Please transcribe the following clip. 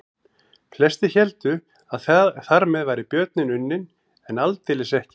Flestir héldu að þar með væri björninn unninn en aldeilis ekki.